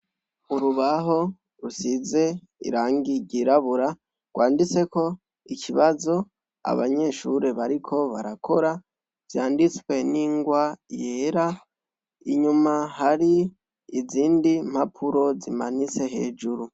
Urubaho rusize irangi ryirabura rwanditseko ikibazo abanyeshure bariko barakora vyanditswe n'ingwa yera, inyuma hari izindi mpapuro zimanitse hejuru.